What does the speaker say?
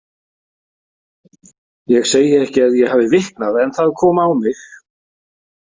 Ég segi ekki að ég hafi viknað en það kom á mig.